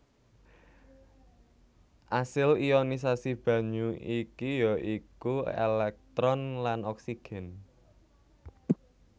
Asil ionisasi banyu iki ya iku èlèktron lan oksigen